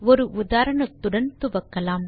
ஒரு உதாரணத்துடன் துவக்கலாம்